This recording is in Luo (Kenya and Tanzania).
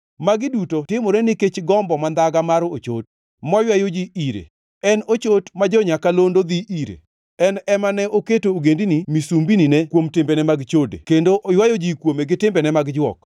Magi duto timore nikech gombo mandhaga mar ochot, maywayo ji ire, en e chot ma jo-nyakalondo dhi ire, en ema ne oketo ogendini misumbinine kuom timbene mag chode kendo oywayo ji kuome gi timbene mag jwok.